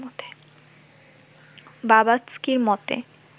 বাভাৎস্কির মতে